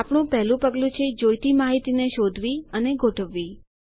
આપણુ પહેલુ પગલું છે જોઈતી માહિતીને શોધવી અને ગોઠવવી